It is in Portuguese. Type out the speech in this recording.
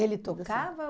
Ele tocava?